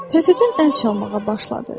Təzədən əl çalmağa başladı.